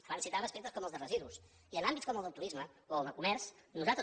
abans citava aspectes com els de residus i en àmbits com el del turisme o el del comerç nosaltres